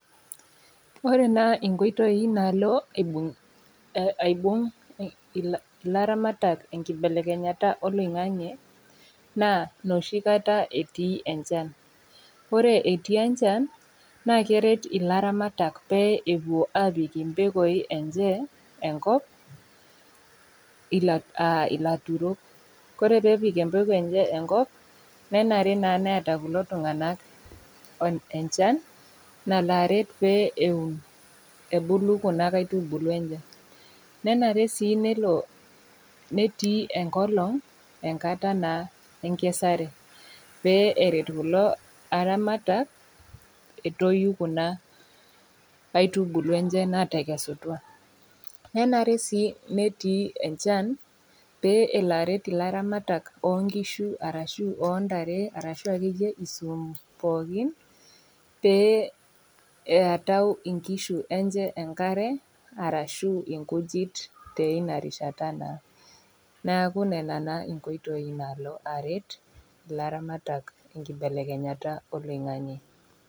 Ore naa inkoitoi naalo aibung' ilairamatak enkibelekenyata oloing'ang'e, naa nooshi kata etii enchan, ore etii enchan naa keret ilairamatak pee epuo apik impekoi enye enkop aa ilaturok ore pee epik empeko enkop, nenare naa peata kulo tung'ana enchan nalo aret pee eun ebulu Kuna kaitubulu enye. Nenare sii nelo netii enkolong' enkata naa enkesare pee eret kulo airamatak, metoyu Kuna aitubulu enye, naatekesutua. Nenare sii peetii enchan pee elo aret ilairamatak o nkishu o ntare ashu ake iyie isuum pookin pee eatau inkishu enye enkare arashu inkujit teina rishata naa, neaku nena naa inkoitoi naalo aret ilairamatak enkibelekenyata oloing'ang'e.